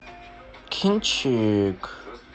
кинчик